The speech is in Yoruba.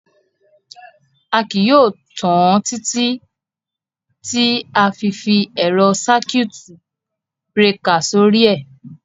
À kíí yóò tan àn títí tí à fí fi èrọ́ ṣakíutì brekà sọ̀rí è.